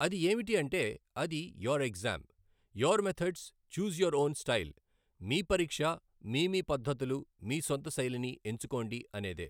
అది ఏమిటి అంటే అది your exam, your methods choose your own style, మీ పరీక్ష్, మీ మీ పద్ధతులు మీ సొంత శైలి ని ఎంచుకోండి అనేదే.